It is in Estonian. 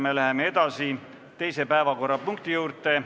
Me läheme edasi teise päevakorrapunkti juurde.